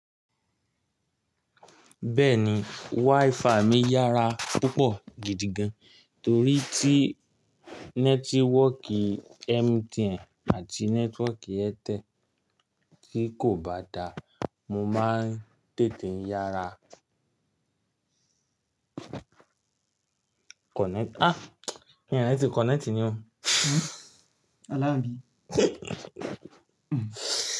Bẹ́ẹ̀ni, WiFi mi yára púpọ̀ gidi gan, torí tí nẹ́tíwọ́kì MTN àti nẹ́tíwọ́kì Airtel ti kò bá da, mo máa ń tètè yára. Connect, a, mii rántí connect ni o. Aláàbí.